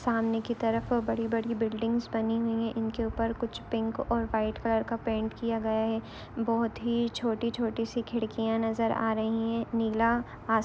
सामने की तरफ बड़ी बड़ी बिल्डिंगस बनी हुई है। इनके ऊपर कुछ पिंक और व्हाइट कलर का पैंट किया गया है। बहुत ही छोटी-छोटी सी खिड्किया नजर आ रही है। नीला आ--